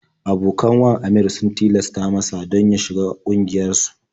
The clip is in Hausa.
Abokan wan Aminr sun tilasta masa don ya shiga ƙungiyarsu.